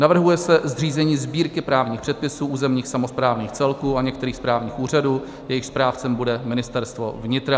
Navrhuje se zřízení Sbírky právních předpisů územních samosprávných celků a některých správních úřadů, jejichž správcem bude Ministerstvo vnitra.